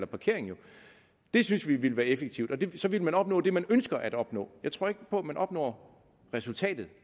parkering det synes vi ville effektivt så ville man opnå det man ønsker at opnå jeg tror ikke på at man opnår resultatet